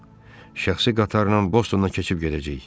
Milson, şəxsi qatarla Bostondan keçib gedəcəyik.